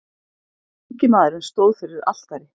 Ungi maðurinn stóð fyrir altari.